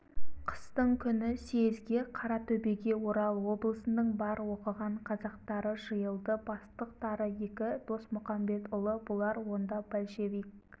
қыстың күні съезге қаратөбеге орал облысының бар оқыған қазақтары жиылды бастықтары екі досмұқамбетұлы бұлар онда большевик